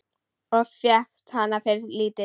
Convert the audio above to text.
Og fékkst hana fyrir lítið!